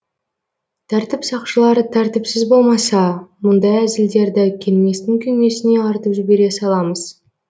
тәртіп сақшылары тәртіпсіз болмаса мұндай әзілдерді келместің күймесіне артып жібере саламыз